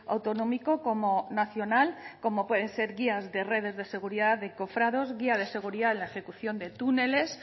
autonómico como nacional como pueden ser guías de redes de seguridad de cofrados guía de seguridad en la ejecución de túneles